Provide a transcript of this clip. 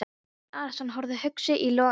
Jón Arason horfði hugsi í logana.